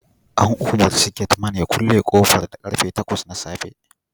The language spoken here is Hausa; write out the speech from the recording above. An umarci gate Man ya kulle kofar da karfe takwas na safe